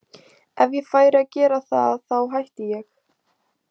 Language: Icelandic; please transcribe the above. Ef ég færi að gera það þá hætti ég.